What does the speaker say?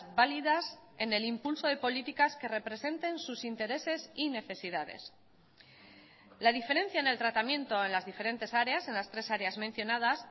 válidas en el impulso de políticas que representen sus intereses y necesidades la diferencia en el tratamiento en las diferentes áreas en las tres áreas mencionadas